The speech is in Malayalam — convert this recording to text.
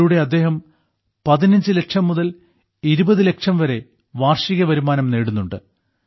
ഇതിലൂടെ അദ്ദേഹം 15 ലക്ഷം മുതൽ 20 ലക്ഷം വരെ വാർഷിക വരുമാനം നേടുന്നുണ്ട്